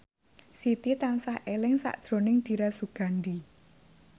Siti tansah eling sakjroning Dira Sugandi